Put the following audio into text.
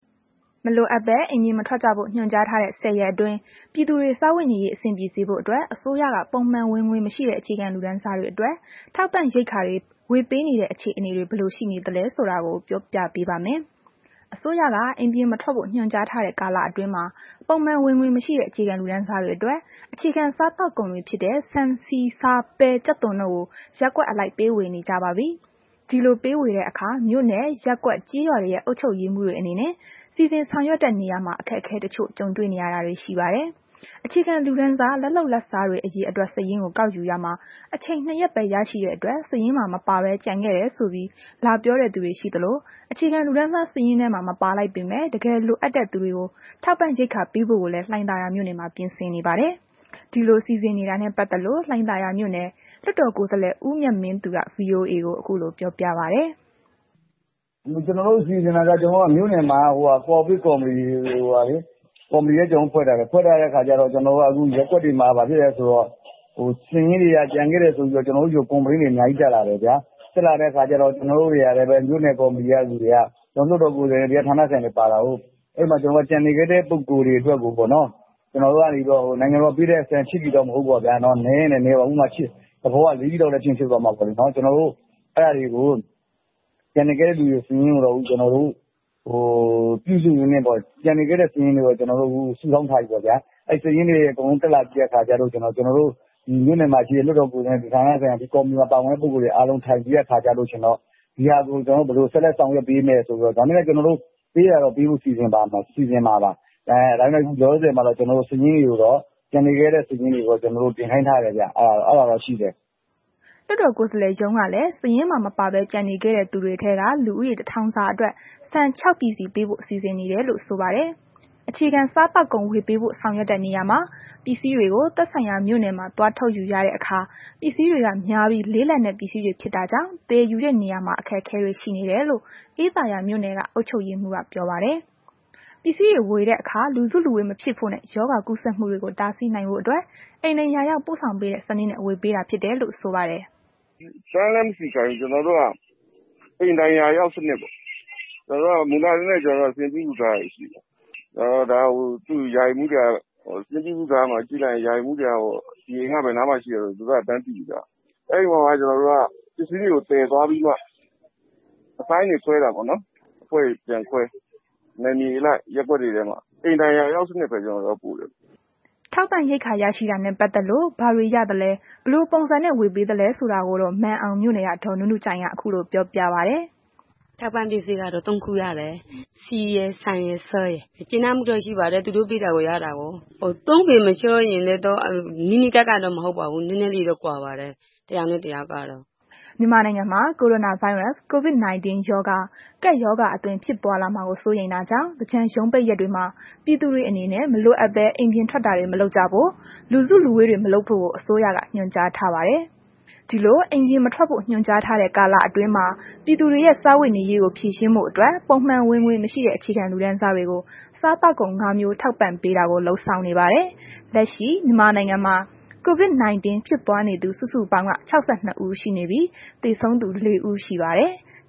မလိုအပ်ပဲ အိမ်ပြင်မထွက်ကြဖို့ ညွှန်ကြားထားတဲ့ ၁၀ ရက်အတွင်းမှာ ပြည်သူတွေ စားဝတ်နေရေး အဆင်ပြေစေဖို့အတွက် အစိုးရက ပုံမှန်ဝင်ငွေမရှိတဲ့ အခြေခံလူတန်းစားတွေအတွက် ထောက်ပံ့ရိက္ခာတွေ ဝေးပေနေတဲ့ အခြေအနေတွေ ဘယ်လို ရှိနေသလဲဆိုတာကို မ အိမ့်သန္တာထွန်း ကပြောပြပေးပါမယ်။ အစိုးရက အိမ်ပြင်မထွက်ဖို့ ညွှန်ကြားထားတဲ့ ကာလအတွင်းမှာ ပုံမှန်ဝင်ငွေမရှိတဲ့ အခြေခံလူတန်းစားတွေ အတွက် အခြေခံစားသောက်ကုန်တွေဖြစ်တဲ့ ဆန်၊ ဆီ၊ ဆား၊ ပဲ၊ ကြက်သွန်တို့ကို ရပ်ကွက်အလိုက် ပေးဝေနေကြပါပြီ။ ဒီလို ပေးဝေတဲ့ အခါ မြို့နယ်၊ ရပ်ကွက်၊ ကျေးရွာ တွေရဲ့ အုပ်ချုပ်ရေးမှူးတွေအနေနဲ့ စီစဉ်ဆောင်ရွက်တဲ့ နေရာမှာ အခက်အခဲတစ်ချို့ ကြုံတွေ့ နေရတာတွေရှိပါတယ်။ အခြေခံလူတန်းစား လက်လုပ်လက်စား အရေအတွက် စာရင်းကို ကောက်ယူရာမှာ အချိန် ၂ရက်ပဲ ရရှိတဲ့အတွက် စာရင်းမှာ မပါဘဲ ကျန်ခဲ့တယ်ဆိုပြီး လာပြောတဲ့ လူတွေရှိသလို အခြေခံလူတန်းစား စားရင်ထဲမှာ မပါလိုက်ပေမယ့် တကယ်လိုအပ်တဲ့ သူတွေကို ထောက်ပံ့ရိက္ခာပေးဖို့ကို လည်း လှိုင်သာယာမြို့နယ်မှာ ပြင်ဆင်နေပါတယ်။ ဒီလို စီစဉ်နေတာနဲ့ ပတ်သက်လို့ လှိုင်သာယာမြို့နယ် လွှတ်တော်ကိုယ်စားလှယ် ဦးမြတ်မင်းသူက ဗွီအိုအေကို ခုလို ပြောပြပါတယ်။ “ကျွန်တော်တို့ မြို့နယ်မှာက ကိုဗစ် ကော်မတီလည်း ဖွဲ့ထားတယ်။ ခု ရပ်ကွက်တွေမှာ ဘာဖြစ်လဲ ဆိုတဲ့ခါကျတော့ စာရင်းတွေက ကျန်ခဲ့တယ်ဆိုပြီးတော့ ကျွန်တော်တို့ ဆီကို ကွန်ပလိန်းတွေ အများကြီး တက်လာတယ်ဗျာ။ တက်လာတဲ့ ခါကျတော့ မြို့နယ်ကော်မတီက လူတွေက လွှတ်တော်ကိုယ်စားလှယ် တွေရော ဌာန်ဆိုင်ရာတွေရော ပါတာကို၊ ကျန်နေခဲ့တဲ့ ပုဂ္ဂိုလ်တွေအတွက်ကို ပေါ့နော် နိုင်ငံတော်က ပေးတဲ့ဆန် ၈ ပြည်တော့ မဟုတ်ဘူးပေါ့ဗျာ နည်းရင်လည်း နည်းမှာပေ့ါ။ ၄ ပြည်လောက်လဲ ဖြစ်ရင် ဖြစ်သွားမှာပေါ့လေနှော်။ ကျန်နေခဲ့တဲ့ စာရင်းတွေကိုတော့ ကျွန်တော်တို့ စုဆောင်း ထားပြီပေါ့ဗျာ။ အဲ့စာရင်းတွေအကုန်လုံးတက်လာပြိးတဲ့ ခါကျရင်တော့ ကျွန်တော်တို့ ဒီကော်မတီမှာ ပါတဲ့သူတွေ အကုန်လုံး ထိုင်ပြီးတဲ့ အခါကျရင်တော့ ဒီဟာကို ဘယ်လို ဆက်လက် ဆောင်ရွက်ပေးမယ်ဆိုတာကို ကျွန်တော်တို့ ပေးတာတော့ ပေးဖို့ စီစဉ်မှာပါ ဒါပေမယ့် ကျွန်တော်တို့ ကျန်နေခဲ့တဲ့ စာရင်းတွေကိုတော့ တင်ခိုင်းထားတယ်ဗျ အဲ့ဒါတော့ ရှိတယ်။” လွှတ်တော်ကိုယ်စားလှယ်ရုံးကလည်း စာရင်းမှာ မပါဘဲ ကျန်နေခဲ့တဲ့ သူတွေထဲက လူဦးရေ တစ်ထောင်စာ အတွက် ဆန် ၆ ပြည်စီ ပေးဖို့ စီစဉ်နေတယ်လို့လည်း ဆိုပါတယ်။ အခြေခံစားသောက်ကုန် ဝေပေးဖို့ဆောင်ရွက်တဲ့နေရာမှာ ပစ္စည်းတွေကို သက်ဆိုင်ရာ မြို့နယ်မှာ သွားထုတ် ယူရတဲ့အခါ ပစ္စည်းတွေက များပြီး လေးလံတဲ့ပစ္စည်းတွေဖြစ်တာကြောင့် သယ်ယူတဲ့ နေရာမှာ အခက်အခဲတွေ ရှိနေတယ်လို့ အေးသာယာမြို့နယ်က အုပ်ချုပ်ရေးမှူးက ပြောပါတယ်။ ပစ္စည်းတွေဝေတဲ့အခါမှာ လူစုလူဝေးမဖြစ်ဖို့နှင့် ရောဂါကူးစက်မှုတွေကို တားဆီးနိုင်ဖို့အတွက် အိမ်တိုင်ရာရောက် ပို့ဆောင်ပေးတဲ့ စနစ်နဲ့ ဝေပေးတာဖြစ်တယ်လို့ ဆိုပါတယ်။ “တန်းမစီခိုင်းဘူး။ ကျွန်တော်တို့က အိမ်တိုင်ရာရောက်စနစ်ပေါ့။ ကျွန်တော်တို့က မူလကတည်းက စာရင်းပြုစုထားတာတွေရှိတာကိုး။ ဒီစာရင်းကို ကြည့်ရင် ဒီအိမ်ဘယ်နားမှာရှိတယ်ဆိုတာ ရာအိမ်မှူးက တန်းသိပြီးသား။ အဲ့ဒီလိုကို ပစ္စည်းတွေသယ်သွားပြီးတော့မှ အပိုင်းတွေခွဲတာပေ့ါနှော်။ အဖွဲ့တွေပြန်ခွဲ နယ်မြေအလိုက် ရပ်ကွက်တွေထဲမှာ ၊ အိမ်တိုင်ရာရောက်စနစ်ပဲ ပို့ပေးတယ်။” ထောက်ပံ့ ရိက္ခာရရှိတာနဲ့ ပတ်သက်လို့ ဘာတွေရသလဲ ဘယ်လိုပုံစံနဲ့ ဝေပေးသလဲဆိုတာကိုတော့ မာန်အောင်မြို့နယ်က ဒေါ်နုနုကြိုင်က ခုလိုပြောပြပါတယ်။ “ထောက်ပံ့ပစ္စည်းကတော့ ၃ ခု ရတယ်။ ဆီရယ် ၊ ဆန်ရယ်၊ ဆားရယ်။ ကျေနပ်မှုတော့ ရှိပါတယ် သူတို့ ပေးတာ ရတာကိုး။ ၃ ပေမခြားပေမယ့် နီးနီးကပ်ကပ်တော့ မဟုတ်ပါဘူး။ နည်းနည်း လေးတော့ ခြားပါတယ် တစ်ယောက်နဲ့ တယောက်ကတော့” မြန်မာနိုင်ငံမှာ ကိုရိုနာဗိုင်းရပ်စ် COVID- 19 ကပ်ရောဂါ ဖြစ်ပွားလာမှာကို စိုးရိမ်တာ ကြောင့် သင်္ကြန်ရုံးပိတ်ရက်တွေမှာ ပြည်သူတွေအနေနဲ့ မလိုအပ်ပဲ အပြင်ထွက်တာတွေ မလုပ်ကြဖို့၊ လူစုလူဝေးတွေ မလုပ်ဖို့ကိုအစိုးရက ညွှန်ကြားထားပါတယ်။ ဒီလို အိမ်ပြင်မထွက်ဖို့ ညွှန်ကြားထားတဲ့ ကာလအတွင်းမှာ ပြည်သူတွေရဲ့စားဝတ်နေရေးကို ဖြေရှင်းဖို့အတွက် ပုံမှန်ဝင်ငွေမရှိတဲ့ အခြေခံလူတန်းစားတွေကို စားသောက်ကုန် ၅ မျိုး ထောက်ပံ့ပေးတာကို လုပ်ဆောင်နေပါတယ်။ လက်ရှိ မြန်မာနိုင်ငံမှာ COVID 19 ဖြစ်ပွားနေသူ စုစုပေါင်းက ၆၂ ဦး ရှိနေပြီး၊ သေဆုံးသူ ၄ ဦး ရှိပါတယ်။